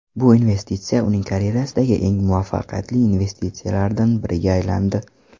Bu investitsiya uning karyerasidagi eng muvaffaqiyatli investitsiyalardan biriga aylandi.